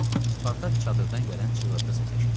Spartak çadırdan gələn çığırtı səsi eşitdi.